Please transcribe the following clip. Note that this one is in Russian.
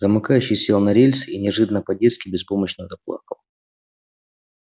замыкающий сел на рельсы и неожиданно по-детски беспомощно заплакал